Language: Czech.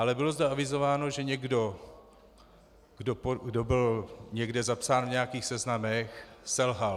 Ale bylo zde avizováno, že někdo, kdo byl někde zapsán v nějakých seznamech, selhal.